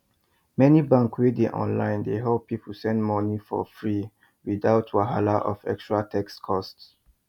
many banks wey dey online dey help people send money for freewithout wahala of extra text cost